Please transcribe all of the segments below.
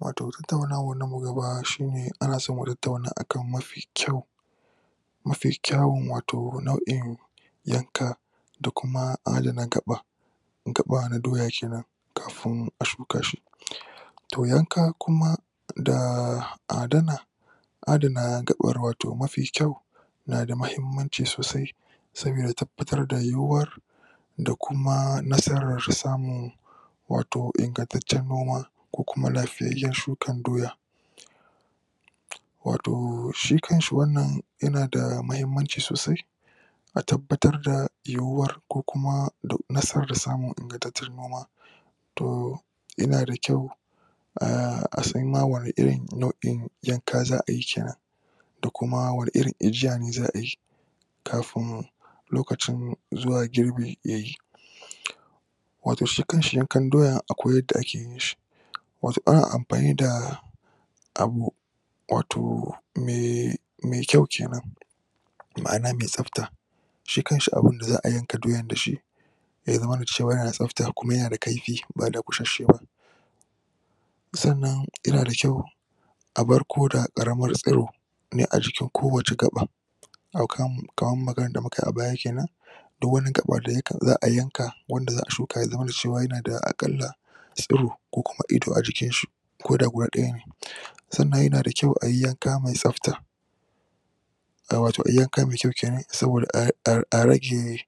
Wato tattaunawan mu na gaba, shi ne ana son a kan mafi kyau mafi kyawun wato nau'in yanka da kuma adana gaba gaba na doya kenan to yanka kuma da adana adana gabar wato mafi kyau yanada muhimmanci sosai saboda tabbatr da yuyuwar da kuma nasarar samun wato ingantancen noma ko kuma lafiyyan shukan doya wato shi kanshi wannan yanada muhimmanci sosai a tabbatr da yuyuwar ko kuma nasarar samun ingantattun noma to yanada kyua a san ma wani irin nau'in yanka za'ayi da kuma wani irin ajiya ne za'a yi kafin lokacin zuwa girbi yayi wato shi kasnhi yankan doyan akwai yanda ake yin shi wato anan amfani da abu wato mai kyau kenan ma'ana mai tsabta shi kanshi abun da za'a yanka doyan dashi ya zamana cewa yana da tsafta kuma ba dakushashe ba sannan yana da kyau abar koda karamar tsoro ne a jikin ko wace gaba kaman maganan da mukayi a baya kenan duk wani gaba da za'a shuka ya zamana cewa yana da akalla tsoro kukuma ido a jikinshi koda guda dayan ne sannan yanada kyau a yi yanka mai tsafta ah wato a yi yanka mai kyau kenan saboda a..a.. a rage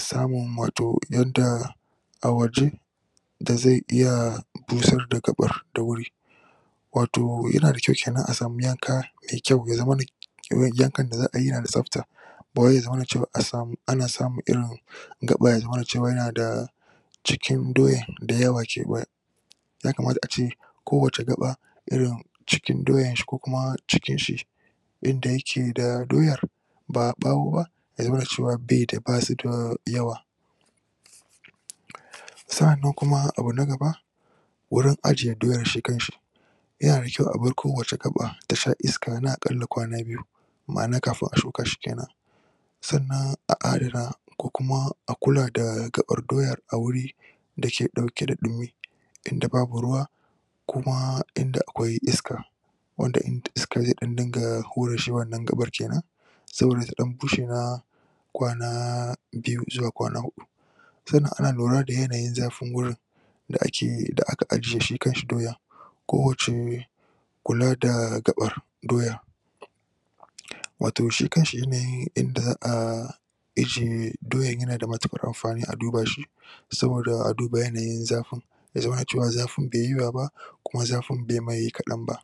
samun wato yanda a waje da zai iya busar da gabar da wuri wato yanda kyau kenan a a sama yanka mai kyau ya zamana yankan da za'ayi yana da tsafta bawai ya zamana ana samun irin gaba ya zamana yanada cikin doyan yana da yawa a kewayen ya kamata ace ko wace gaba ace irin cikin doyan shi kukuma cikin shi yanda yake da doyar ba ɓawo ba ya zamana cewa basuda yawa sa'annan kuma abu na gaba wurin ajiye doyan shi kanshi yana da kyau abar ko wani gaɓa ta sha iska na akalla kwana biyu ma'ana kafin a shuka shi kenan sanan a adana kukuma a kula da gaɓar doya a guri dake dauke da ɗumi inda babu ruwa kuma inda akwai iska wanda shi iska zeke hura shi wannan gaɓa kenan saboda ta dan bushe na kwana biyu zuwa kwana uku sannan a lura da yanayin zafi gurin da aka ajiye shi kanshi doyan ko wace kula da gaɓa doyyan wato shi kanshi yanain yanda za'a ajiye doyan yana da matuƘar amfani a duba shi saboda a uba yanayin zafin ya zamana cewa zafin baiyi yawa ba kuma zafin baimai kaɗan ba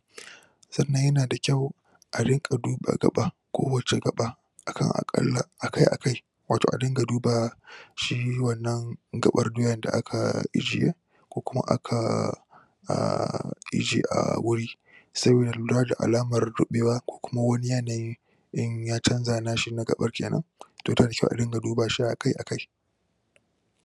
sannan yanada kyau a riƘa duba ga ɓa, ko wace ga ɓa akan akalla.......akai akai wato a dinga duba shi wannan ga ɓar doyan da aka ajiye kukuma aka ahhh... ije ahhh...... guri lura da alamar ri ɓewa ko wani yanayi ya canja, na ga ɓar kenan yanda da kyau a dinga dubawa akai-akai